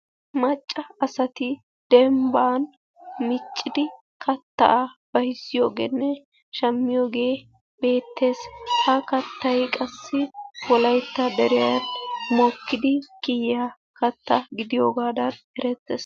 Macca asati dembban miccidi kattaa bayzziyogenne shammiyoogee beettees, ha kattay qassi wolaytta deriyani mokkidi kiyiya katta gidiyoogadan erettees.